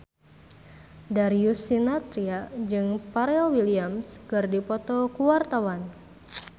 Darius Sinathrya jeung Pharrell Williams keur dipoto ku wartawan